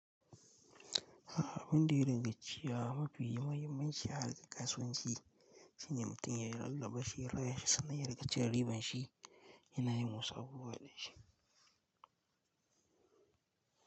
Ah abindin rigacciya mafi muhimmanci a harkar kasuwanci shine mutum ya rarraba shi, raya shi sannan ya rika cire riban shi yana yi wasu abubuwa da shi.